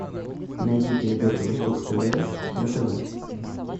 найди передачу восток тв на тв